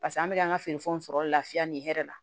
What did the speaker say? Paseke an bɛ an ka feerefɛnw sɔrɔ lafiya nin hɛrɛ la